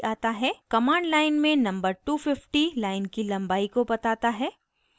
command line में number 250 line की लम्बाई को बताता है